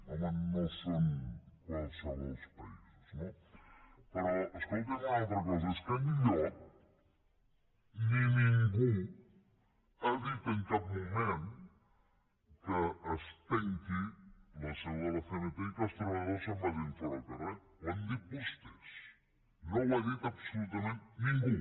home no són qualssevol països no però escolti’m una altra cosa és que enlloc ni ningú ha dit en cap moment que es tanqui la seu de la cmt i que els treballadors se’n vagin fora al carrer ho han dit vostès no ho ha dit absolutament ningú